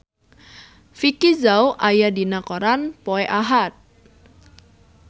Vicki Zao aya dina koran poe Ahad